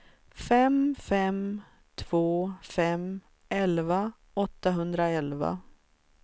fem fem två fem elva åttahundraelva